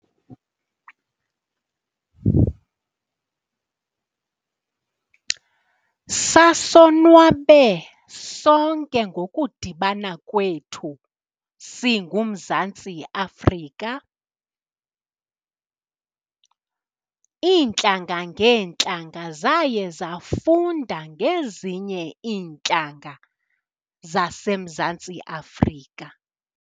Sasonwabe sonke ngokudibana kwethu singuMzantsi Afrika. Iintlanga ngeentlanga zaye zafunda ngezinye iintlanga zaseMzantsi Afrika.